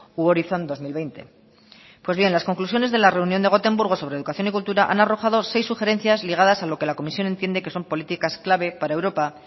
u horizon dos mil veinte pues bien las conclusiones de la reunión de gotemburgo sobre educación y cultura han arrojado seis sugerencias ligadas a lo que la comisión entiende que son políticas clave para europa